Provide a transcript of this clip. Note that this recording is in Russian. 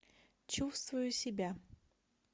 чувствую себя